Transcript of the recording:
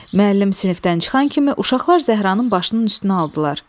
Müəllim sinifdən çıxan kimi uşaqlar Zəhranın başının üstünə aldılar.